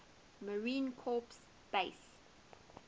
marine corps base